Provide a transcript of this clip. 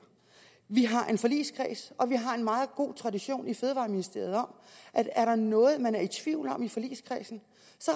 vi har en forligskreds og vi har en meget god tradition i fødevareministeriet for at er der noget man er i tvivl om i forligskredsen